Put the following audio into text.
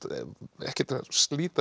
ekkert að slíta